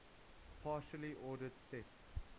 partially ordered set